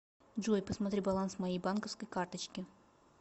джой посмотри баланс моей банковской карточки